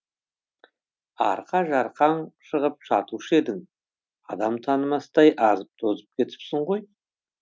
арқа жарқаң шығып жатушы едің адам танымастай азып тозып кетіпсің ғой